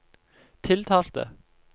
tiltalte